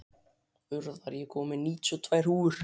Urðar, ég kom með níutíu og tvær húfur!